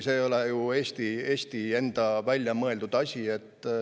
See ei ole ju Eesti enda välja mõeldud asi.